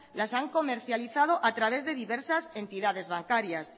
las han comercializado a través de diversas entidades bancarias